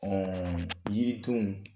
jiri tun